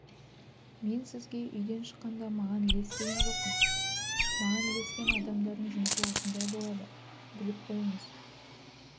мен сізге үйден шыққанда маған ілес деген жоқпын маған ілескен адамдардың жұмысы осындай болады біліп қойыңыз